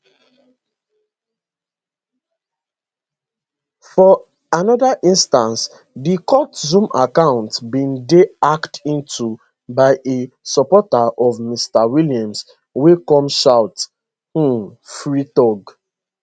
for anoda instance di court zoom account bin dey hacked into by a supporter of mr williams wey come shout um free thug